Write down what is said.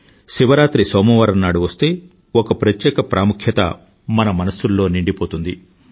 శివరాత్రి సోమవారం నాడు వస్తే ఒక ప్రత్యేక ప్రాముఖ్యత మన మనసుల్లో నిండిపోతుంది